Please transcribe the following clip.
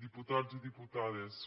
diputats i diputades